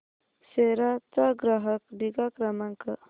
सेरा चा ग्राहक निगा क्रमांक